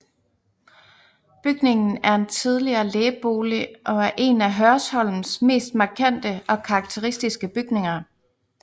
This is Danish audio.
Bygningen er en tidligere lægebolig og er en af Hørsholms mest markante og karakteristiske bygninger